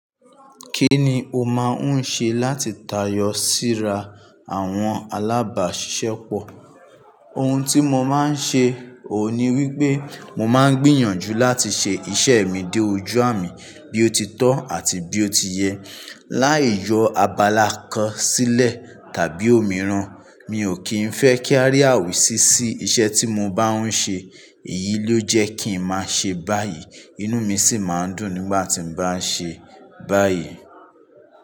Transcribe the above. Kí ni o máa ń ṣe láti tayọ síra àwọn alábàáṣepọ̀? Ohun tí mo máa ń ṣe, ò ní wípé mo máa ń gbìyànjú láti ṣe iṣẹ́ mi dé ojú àmì bí ó ti tọ́ àti bí ó ti yẹ. Láì yọ abala kan sílẹ̀ tàbí òmíràn, mi ò kì n fẹ́ kí a rí àwiṣí sí iṣẹ́ tí mo bá ń ṣe. Èyí ló jẹ́ kí ń máa ṣe báyìí, inú mi sì máa ń dùn nígbà tí mo bá ń ṣe báyìí.